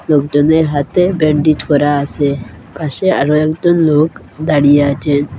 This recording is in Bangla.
লোকজনের হাতে ব্যান্ডিজ করা আসে পাশে আরও একজন লোক দাঁড়িয়ে আছেন।